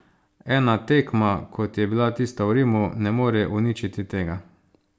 Ena tekma, kot je bila tista v Rimu, ne more uničiti tega.